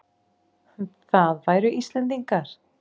Það væru Íslendingar.